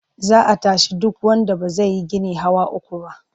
Za a tashi duk wanda ba zai yi gini hawa uku ba.